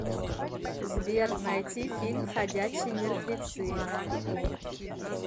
сбер найти фильм ходячие мертвецы